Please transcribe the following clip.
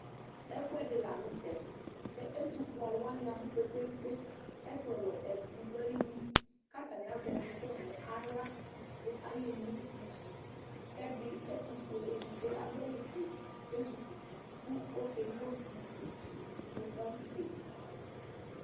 Ɛfʋɛdi lanʋtɛ kʋ ɛtʋfʋe alʋ wani abʋ kpevkpe kpe ɛtʋwɛ ɛdibi dʋ ayili kʋ atani azɛ bidɔ nʋ aɣla kʋ ayeno ivi kʋ ɛdi etufue edigbo adʋ awʋfue kʋ ezikɔ uti kʋ ɔkeno ivi nʋ pɔmpi